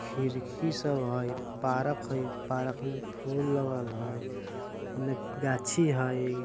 खिड़की सब हई पार्क हाई पार्क में फूल लगल हाई उन्ने गाछी हई।